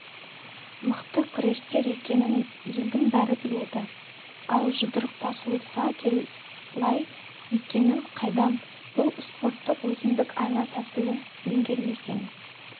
мықты күрескер екенін елдің бәрі біледі ал жұдырықтасуға қалай екенін қайдам бұл спорттың өзіндік айла-тәсілін меңгермесең